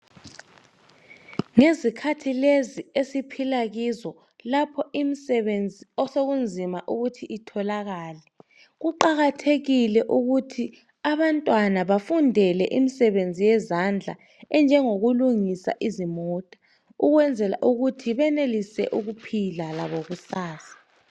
Ngezikhathi lezi esiphila kizo lapho imisebenzi osokunzima ukuthi itholakale kuqakathekile ukuthi abantwana bafundele imisebenzi yezandla enjengokulungisa izimota ukwenzela ukuthi benelise ukuphila labo kusasa.